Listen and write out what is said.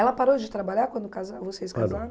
Ela parou de trabalhar quando casaram, vocês casaram?